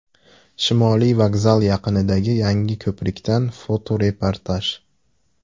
Shimoliy vokzal yaqinidagi yangi ko‘prikdan fotoreportaj .